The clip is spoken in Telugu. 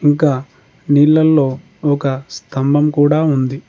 ఇంకా నీళ్లలో ఒక స్తంభం కూడా ఉంది.